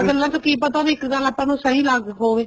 ਗੱਲਾਂ ਚ ਕੀ ਪਤਾ ਇੱਕ ਗੱਲ ਆਪਾਂ ਨੂੰ ਸਹੀ ਲੱਗ ਹੋਵੇ